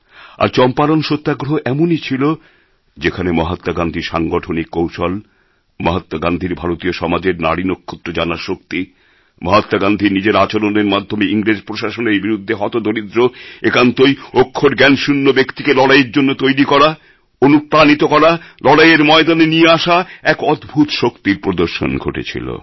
আর চম্পারণ সত্যাগ্রহ এমনই ছিল যেখানে মহাত্মা গান্ধীর সাংগঠনিক কৌশল মহাত্মা গান্ধীর ভারতীয় সমাজের নাড়ি নক্ষত্র জানার শক্তি মহাত্মা গান্ধীর নিজের আচরণের মাধ্যমে ইংরেজ প্রশাসনের বিরুদ্ধে হতদরিদ্র একান্তই অক্ষরজ্ঞানশূন্য ব্যক্তিকে লড়াইয়ের জন্য তৈরি করা অনুপ্রাণিত করা লড়াইয়ের ময়দানে নিয়ে আসা এক অদ্ভূত শক্তির প্রদর্শন ঘটেছিল